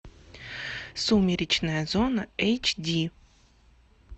сумеречная зона эйч ди